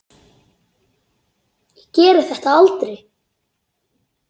Ég geri þetta aldrei.